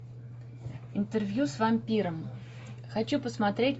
интервью с вампиром хочу посмотреть